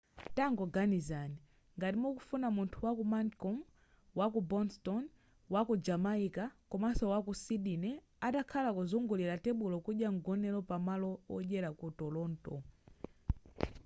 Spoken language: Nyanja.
tangoganizani ngati mukufuna munthu waku mancun waku boston waku jamaica komaso waku sydney atakhala kuzungulira tebulo kudya mgonero pamalo odyera ku toronto